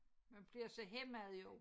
Man bliver så hæmmet jo